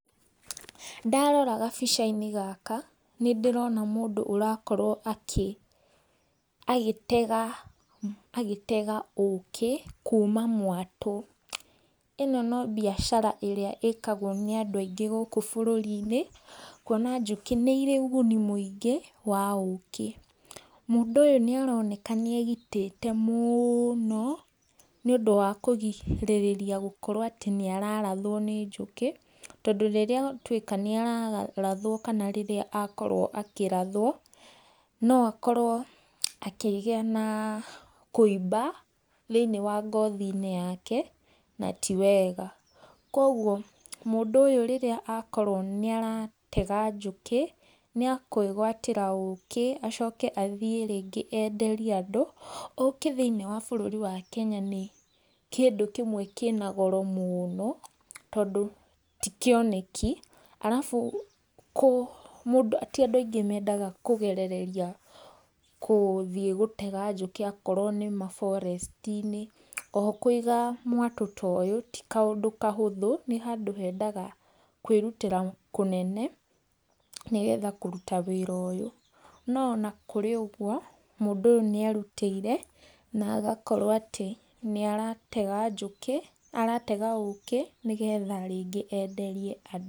Ndarora gabicainĩ gaka nĩ ndĩrona mũndũ ũrakorwo agĩtega agĩtega ũkĩ kuma mwatũ. Ĩno no biacara ĩrĩa ĩkagwo nĩ andũ aingĩ gũkũ bũrũri-inĩ, kuona njũke nĩirĩ ũguni mũingĩ wa ũkĩ. Mũndũ ũyũ nĩaroneka nĩ egitĩte mũno nĩũndũ wa kũgirĩrĩria gũkorwo atĩ nĩararathwo nĩ njũkĩ, tondũ rĩrĩa atuĩka nĩararathwo kana rĩrĩa akorwo akĩrathwo no akorwo akĩgĩa na kũimba thĩiniĩ wa ngothi-inĩ yake na ti wega. Koguo mũndũ ũyũ rĩrĩa akorwo nĩaratega njũkĩ nĩa kwĩgwatĩra ũkĩ, acoke rĩngĩ athiĩ rĩngĩ enderie andũ. Ũkĩ thĩiniĩ wa bũrũri witũ wa Kenya nĩ kĩndũ kĩmwe kĩna goro mũno, tondũ ti kĩoneki arabu ti andũ aingĩ mendaga kũgerereria gũthiĩ gũtega njũkĩ akorwo nĩma forest -inĩ. O ho kũiga mwatũ ta ũyũ ti kaũndũ kahũthũ, nĩ handũ hendaga kwĩrutĩra kũnene, nĩgetha kũruta wĩra ũyũ. No ona kũrĩ ũguo mũndũ ũyũ nĩerutĩire na agakorwo atĩ nĩaratega njũkĩ, nĩaratega ũkĩ, nĩgetha rĩngĩ enderie andũ.